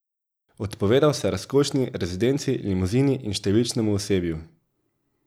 Odpovedal se je razkošni rezidenci, limuzini in številčnemu osebju.